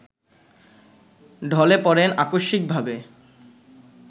ঢলে পড়েন আকস্মিকভাবে